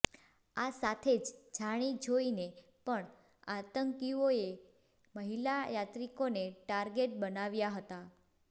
આ સાથે જ જાણી જોઈને પણ આતંકીઓએ મહિલા યાત્રિકોને ટાર્ગેટ બનાવ્યા હતા